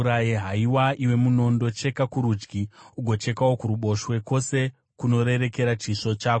Haiwa, iwe munondo, cheka kurudyi, ugochekawo kuruboshwe, kwose kunorerekera munondo wako.